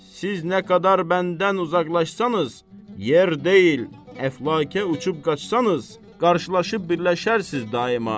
Siz nə qədər məndən uzaqlaşsanız, yer deyil, əflakə uçub qaçsanız, qarşılaşıb birləşərsiz daima.